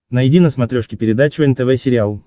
найди на смотрешке передачу нтв сериал